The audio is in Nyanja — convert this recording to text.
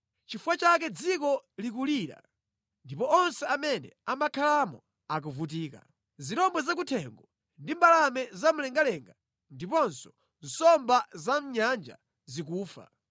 Chifukwa chake dziko likulira ndipo onse amene amakhalamo akuvutika; zirombo zakuthengo ndi mbalame zamumlengalenga ndiponso nsomba zamʼnyanja zikufa.